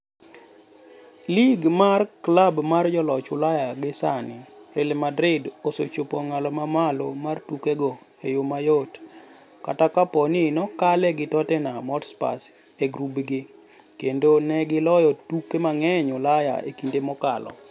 Lig mar klab mar joloch Ulaya gi sani, Real osechopo e ong'ala mamalo mar tukego e yoo mayot, kata kapo ni nokaale gi Tottenham Hotspur e gubgi - kendo negi loyo tuke mang'eny Ulaya e kinde mokalo.